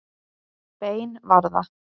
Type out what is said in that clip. Bein var það.